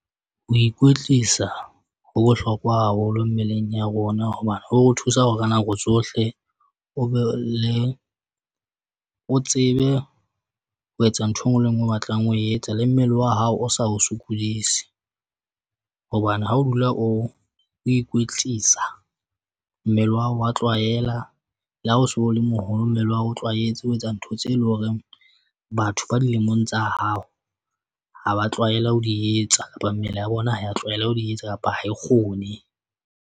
Ho ikwetlisa ho bohlokwa haholo mmeleng ya rona hobane ho o thusa hore ka nako tsohle o be le o tsebe ho etsa ntho e nngwe le e nngwe o batlang ho etsa le mmele wa hao. O sa o sokodise hobane ha o dula o o ikwetlisa mmele wa hao wa tlwaela le ha o so le moholo. Mmele wa hao o tlwaetse ho etsa ntho tseo e leng horeng batho ba dilemong tsa hao ha ba tlwaela ho di etsa kapa mmele ya bona ho ya tlwaela ho di etsa kapa ha e kgone.